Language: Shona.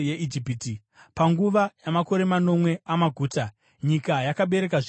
Panguva yamakore manomwe amaguta, nyika yakabereka zvizhinji kwazvo.